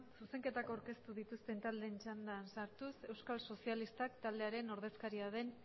zuzenketak aurkeztu dituzten taldeen txandan sartuz euskal sozialistak taldearen ordezkaria den